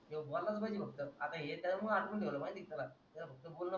त्यो बोलाच पहिले फक्त आता हे त्याच्या मुळे अटकून ठेवलाय माहिती आहे का तुला त्याला फक्त बोलणं